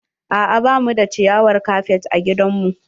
A'a ba mu da ciyawar kafet a gidan mu.